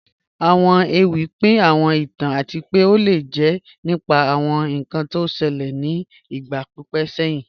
Awọn èwì pín àwọn ìtàn àti pẹ́ o lè jẹ́ nípà àwọn ìkàn tí ó ṣèlẹ̀ ni ìgba pípẹ̀ sẹ̀hin